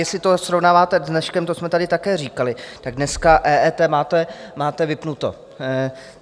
Jestli to srovnáváte s dneškem - to jsme tady také říkali - tak dneska EET máte vypnuto.